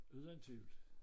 Uden tvivl